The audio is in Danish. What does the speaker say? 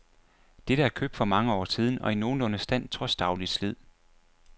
Dette er købt for mange år siden og i nogenlunde stand trods dagligt slid.